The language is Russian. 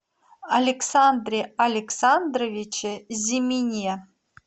александре александровиче зимине